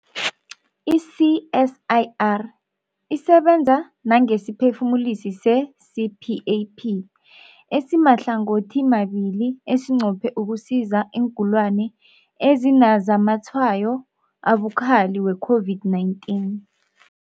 I-CSIR isebenza nangesiphefumulisi se-CPAP esimahlangothimabili esinqophe ukusiza iingulani ezinazamatshwayo abukhali we-COVID-19.